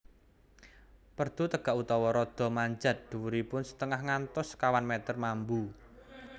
Perdu tegak utawa rada manjat dhuwuripun setengah ngantos sekawan meter mambu